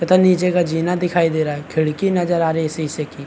तथा नीचे का जीना दिखाई दे रहा है खिड़की नजर आ रही है शीशे की--